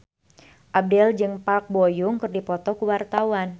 Abdel jeung Park Bo Yung keur dipoto ku wartawan